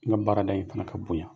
N ka baarada in fana ka bonya